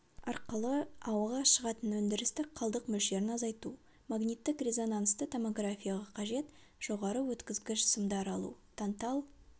арқылы ауаға шығатын өндірістік қалдық мөлшерін азайту магниттік-резонансты томографияға қажет жоғары өткізгіш сымдар алу тантал